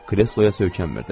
Kresloya söykənmirdi.